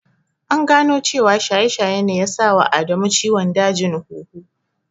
An gano cewa shaye-shaye ne ya sa wa Adamu ciwon dajin huhu.